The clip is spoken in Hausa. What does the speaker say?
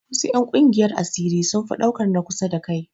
Wasu 'yan ƙungiyar asiri sun fi ɗaukan na kusa da kai